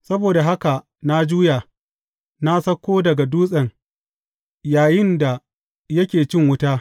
Saboda haka na juya, na sauko daga dutsen yayinda yake cin wuta.